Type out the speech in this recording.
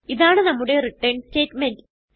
ഇതാണ് നമ്മുടെ return statement